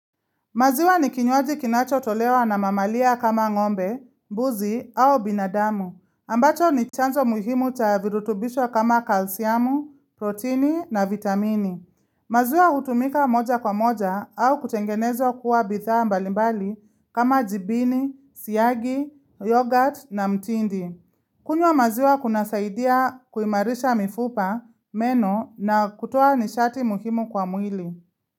Maziwa ni kinywaji kinacho tolewa na mamalia kama ngombe, mbuzi au binadamu, ambacho ni chanzo muhimu cha virutubishwa kama kalsiamu, proteini na vitamini. Maziwa hutumika moja kwa moja au kutengenezwa kuwa bidhaa mbalimbali kama jibini, siyagi, yoghurt na mtindi. Kunywa maziwa kunasaidia kuimarisha mifupa, meno na kutoa nishati muhimu kwa mwili.